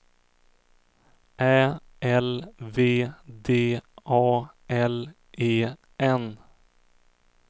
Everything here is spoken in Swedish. Ä L V D A L E N